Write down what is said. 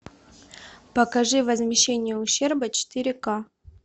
покажи возмещение ущерба четыре ка